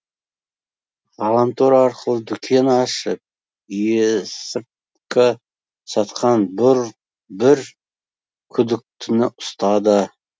ғаламтор арқылы дүкен ашып есірткі сатқан бір күдіктіні ұстады